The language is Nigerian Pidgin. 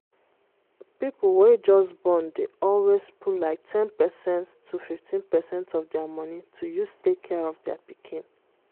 people wey just born dey always put like 10%-15 percent of dia money to use take care of dai pikin.